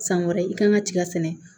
San wɛrɛ i kan ka tigɛ sɛnɛ